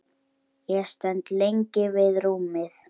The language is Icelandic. Ég stend lengi við rúmið.